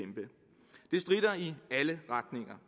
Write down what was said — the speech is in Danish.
stritter i alle retninger